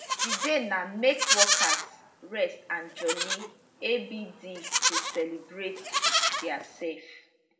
di day na make workers rest and jolly abd to celebrate diasefs